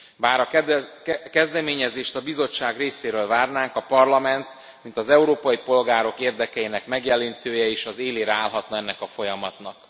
Bár a kezdeményezést a Bizottság részéről várnánk, a Parlament mint az európai polgárok érdekeinek megjelenítője is az élére állhatna ennek a folyamatnak.